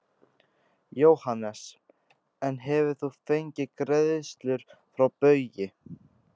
Jóhannes: En hefur þú fengið greiðslur frá Baugi?